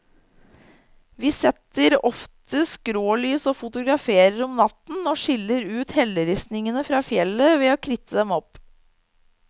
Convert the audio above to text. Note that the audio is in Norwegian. Vi setter ofte skrålys og fotograferer om natten, og skiller ut helleristningen fra fjellet ved å kritte dem opp.